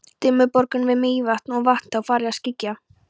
Dimmuborgum við Mývatn og þá var farið að skyggja.